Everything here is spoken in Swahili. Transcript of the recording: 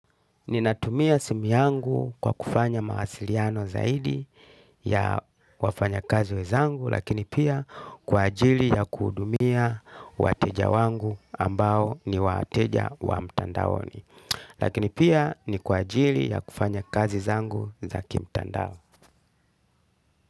Ninatumia simu yangu kwa kufanya mawasiliano zaidi ya wafanya kazi wenzangu lakini pia kwa ajili ya kuhudumia wateja wangu ambao ni wateja wa mtandaoni. Lakini pia ni kwa ajili ya kufanya kazi zangu za kimtandao.